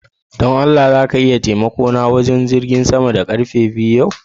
Don Allah za ka iya taimako na kama wurin jigin sama da karfe biyu yau?